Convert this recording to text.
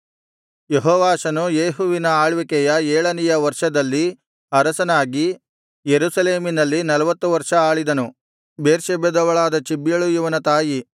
ಯೆಹೋವಾಷನು ಯೇಹುವಿನ ಆಳ್ವಿಕೆಯ ಏಳನೆಯ ವರ್ಷದಲ್ಲಿ ಅರಸನಾಗಿ ಯೆರೂಸಲೇಮಿನಲ್ಲಿ ನಲ್ವತ್ತು ವರ್ಷ ಆಳಿದನು ಬೇರ್ಷೆಬದವಳಾದ ಚಿಬ್ಯಳು ಇವನ ತಾಯಿ